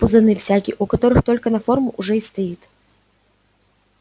пузаны всякие у которых только на форму уже и стоит